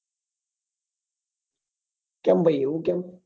કેંમ ભાઈ એવું કેંમ?